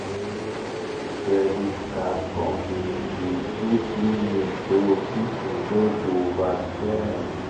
credit card company dey put limit so people no go overspend.